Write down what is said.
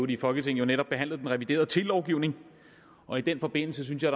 i folketinget netop behandlet den reviderede telelovgivning og i den forbindelse synes jeg